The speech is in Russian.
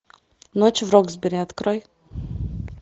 ночь в роксберри открой